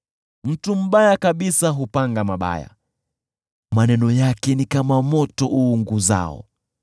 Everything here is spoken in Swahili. Mtu mbaya kabisa hupanga mabaya, maneno yake ni kama moto uunguzao.